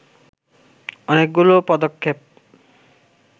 অনেকগুলো পদক্ষেপ